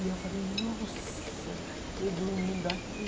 E eu falei, nossa, eu dormindo aqui.